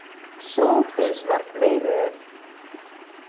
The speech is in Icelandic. Hvenær á ég afmæli?